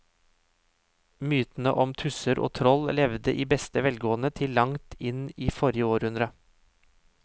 Mytene om tusser og troll levde i beste velgående til langt inn i forrige århundre.